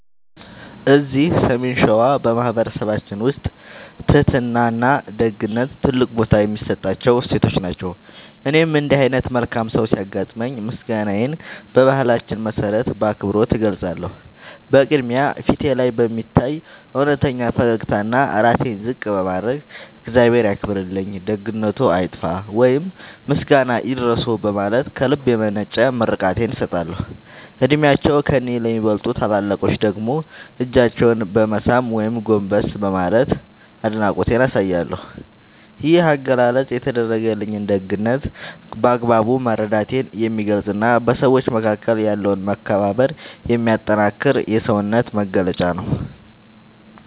እዚህ ሰሜን ሸዋ በማኅበረሰባችን ውስጥ ትሕትናና ደግነት ትልቅ ቦታ የሚሰጣቸው እሴቶች ናቸው። እኔም እንዲህ ዓይነት መልካም ሰው ሲያጋጥመኝ ምስጋናዬን በባህላችን መሠረት በአክብሮት እገልጻለሁ። በቅድሚያ፣ ፊቴ ላይ በሚታይ እውነተኛ ፈገግታና ራሴን ዝቅ በማድረግ "እግዚአብሔር ያክብርልኝ፣ ደግነትዎ አይጥፋ" ወይም "ምስጋና ይድረስዎ" በማለት ከልብ የመነጨ ምርቃቴን እሰጣለሁ። ዕድሜያቸው ከእኔ ለሚበልጡ ታላላቆች ደግሞ እጃቸውን በመሳም ወይም ጎንበስ በማለት አድናቆቴን አሳያለሁ። ይህ አገላለጽ የተደረገልኝን ደግነት በአግባቡ መረዳቴን የሚገልጽና በሰዎች መካከል ያለውን መከባበር የሚያጠነክር የውስጤ መግለጫ ነው።